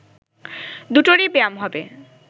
দুটোরই ব্যায়াম হবে